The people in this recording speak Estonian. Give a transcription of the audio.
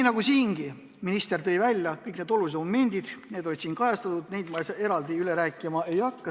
Nagu siingi, tõi minister välja kõik olulised momendid ja neid ma eraldi üle rääkima ei hakka.